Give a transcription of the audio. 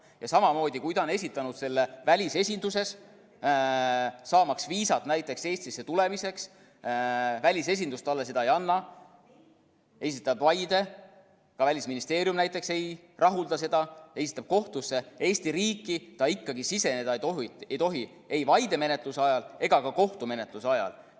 Ja samamoodi, kui ta on esitanud selle välisesinduses, saamaks viisat näiteks Eestisse tulemiseks, välisesindus talle seda ei anna, ta esitab vaide, ka Välisministeerium näiteks ei rahulda seda, esitab kohtusse, Eesti riiki ta ikkagi siseneda ei tohi – ei vaidemenetluse ajal ega ka kohtumenetluse ajal.